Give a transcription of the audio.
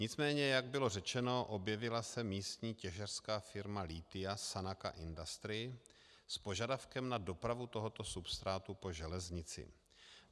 Nicméně, jak bylo řečeno, objevila se místní těžařská firma lithia Sanaka Industry s požadavkem na dopravu tohoto substrátu po železnici.